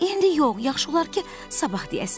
İndi yox, yaxşı olar ki, sabah deyəsiniz.